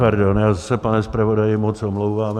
Pardon, já se, pane zpravodaji, moc omlouvám.